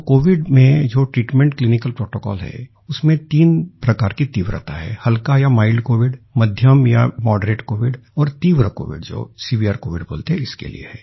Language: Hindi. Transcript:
तो कोविड में क्लिनिक ट्रीटमेंट प्रोटोकॉल है उसमें तीन प्रकार की तीव्रता है हल्का या माइल्ड कोविड मध्यम या मॉडरेट कोविड और तीव्र कोविड जो सेवेरे कोविड बोलते हैं इसके लिए है